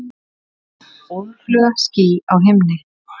Óðfluga ský á himni.